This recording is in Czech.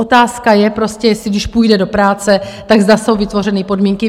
Otázka je, prostě jestli když půjde do práce, tak zda jsou vytvořeny podmínky.